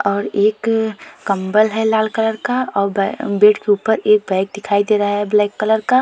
और एक कंबल है लाल कलर का और ब बेड के ऊपर एक बैग दिखाई दे रहा है ब्लैक कलर का।